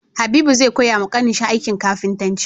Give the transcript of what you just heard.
Habibu zai koya wa ƙanin shi aikin kafintanci